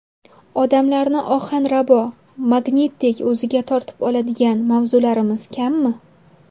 Odamlarni ohanrabo, magnitdek o‘ziga tortib oladigan mavzularimiz kammi?